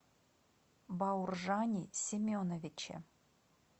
бауржане семеновиче